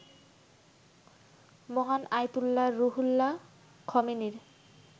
মহান Ayatollah Ruhollah খমেনির